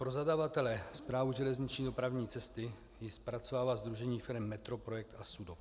Pro zadavatele, Správu železniční dopravní cesty, ji zpracovává sdružení firem METROPROJEKT a SUDOP.